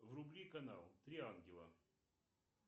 вруби канал три ангела